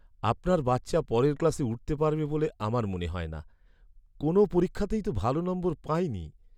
আপনার বাচ্চা পরের ক্লাসে উঠতে পারবে বলে আমার মনে হয় না। কোনও পরীক্ষাতেই তো ভালো নম্বর পায়নি।